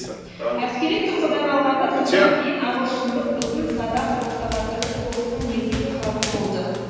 әскери тұрғыдан алғанда содан кейін ағылшындық ұзын садақ ортағасырлық соғыстың негізгі қаруы болды